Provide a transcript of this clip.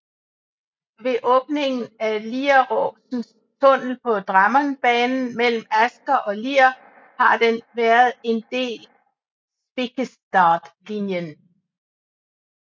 Efter åbningen af Lieråsen tunnel på Drammenbanen mellem Asker og Lier har den været en del Spikkestadlinjen